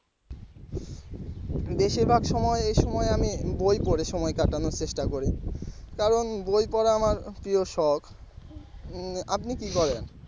বেশিরভাগ সময় এই সময় আমি বই পরে সময় কাটানোর চেষ্টা করি কারণ বই পড়া আমার প্রিয় শখ উম আপনি কি করেন?